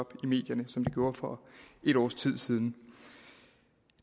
op i medierne som den gjorde for et års tid siden